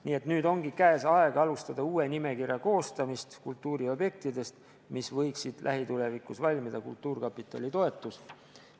Nii et nüüd ongi käes aeg hakata koostama uut nimekirja kultuuriobjektidest, mis võiksid lähitulevikus valmida kultuurkapitali toetusel.